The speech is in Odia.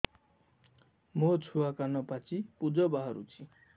ମୋ ଛୁଆ କାନ ପାଚି ପୂଜ ବାହାରୁଚି